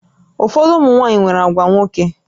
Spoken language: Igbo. Ụfọdụ ụmụ nwaanyị nwere àgwà nwoke